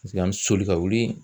Paseke an mi soli ka wuli